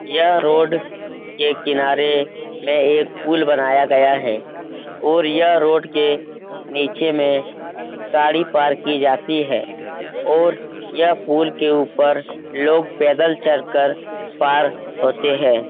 यह रोड के किनारे में एक पुल बनाया गया है और यह रोड के नीचे में गाड़ी पार्क की जाती है और यह पुल के ऊपर लोग पैदल चलकर पार होते हैं।